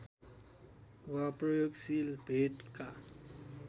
वा प्रयोगशील भेदका